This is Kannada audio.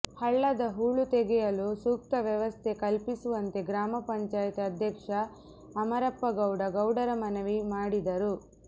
ಹಳ್ಳದ ಹೂಳು ತೆಗೆಯಲು ಸೂಕ್ತ ವ್ಯವಸ್ಥೆ ಕಲ್ಪಿಸುವಂತೆ ಗ್ರಾಮ ಪಂಚಾಯ್ತಿ ಅಧ್ಯಕ್ಷ ಅಮರಪ್ಪಗೌಡ ಗೌಡರ ಮನವಿ ಮಾಡಿದರು